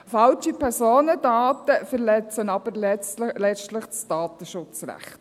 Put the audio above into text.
Falsche Personendaten verletzen aber letztlich das Datenschutzrecht.